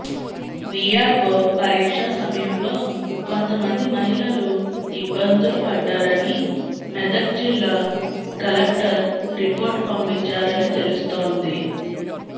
VRO పరీక్ష సమయంలో కొంతమంది మహిళలు ఇబ్బందులు పడ్డారని మెదక్ జిల్లా కలెక్టర్ రిపోర్ట్ పంపించారని తెలుస్తోంది